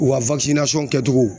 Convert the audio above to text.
U ka kɛcogo